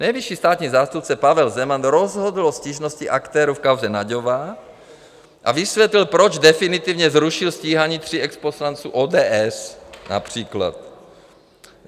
"Nejvyšší státní zástupce Pavel Zeman rozhodl o stížnosti aktérů v kauze Nagyová a vysvětlil, proč definitivně zrušil stíhání tří exposlanců ODS", například.